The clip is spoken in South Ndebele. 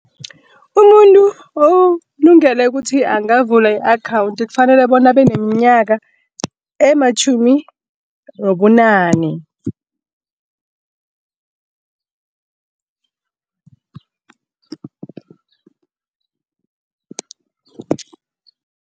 Umuntu olungele ukuthi angavula i-akhawunthi kufanele bona abe nemnyaka ematjhumi nobunane.